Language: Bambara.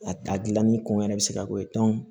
A ta gilanni kɔngɔ yɛrɛ bɛ se ka bɔ yen